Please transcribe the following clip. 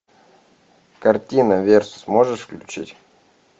картина верс можешь включить